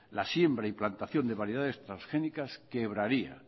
la siembra y plantación de variedades transgénicas quebraría